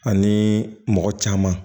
Ani mɔgɔ caman